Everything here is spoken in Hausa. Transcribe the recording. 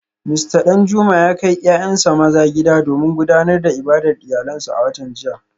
Mista Danjuma ya kai ‘ya’yansa maza gida domin gudanar da ibadar iyalansu a watan jiya